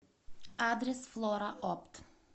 адрес флораопт